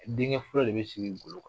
Denkɛ fɔlɔ de bɛ sigi golo kan.